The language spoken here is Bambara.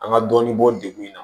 An ka dɔɔnin bɔ degun in na